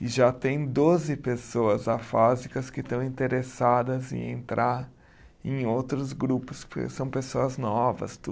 E já tem doze pessoas afásicas que estão interessadas em entrar em outros grupos, porque são pessoas novas,